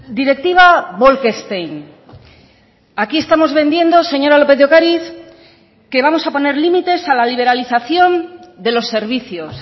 directiva bolkestein aquí estamos vendiendo señora lópez de ocariz que vamos a poner límites a la liberalización de los servicios